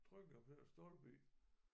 Trykkede jeg på den stolpe i